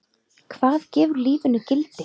Hvað gefur lífinu gildi?